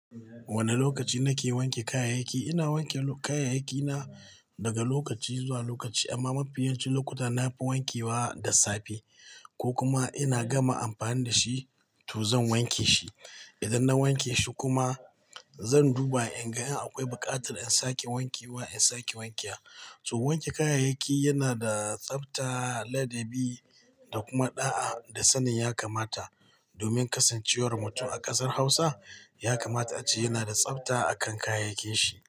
Wane lokaci nake wanke kayayyaki? Ina wanke kayayyaki na daga lokaci zuwa lokaci amma mafiyancin lokuta nafi wanke wa da safe ko kuma ina gama amfani da shi to zan wanke shi. Ina wanke kayayyaki na daga lokaci zuwa lokaci amma mafiyancin lokuta nafi wanke wa da safe to wanke kayayyaki yana da tsafta ladabi da kuma ɗa'a da sanin ya kamata domin kasancewar mutum a ƙasar Hausa ya kamata a ce yana da tsafta a kan kayayyakin shi.